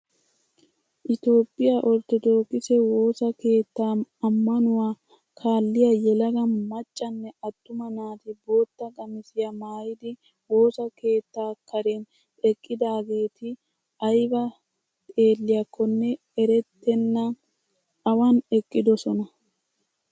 Itoophphiyaa orttodookise woossa keettaa ammanwuaa kaalliyaa yelaga maccanne attuma naati bootta qamisiyaa maayidi woossa keettaa karen eqqidaageti ayba xeelliyakonne erettena awan eqqidosona.